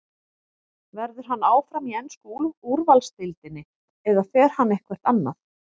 Verður hann áfram í ensku úrvalsdeildinni eða fer hann eitthvert annað?